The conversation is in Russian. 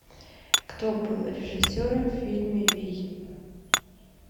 кто был режиссером в фильме вий